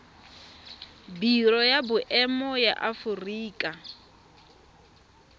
biro ya boemo ya aforika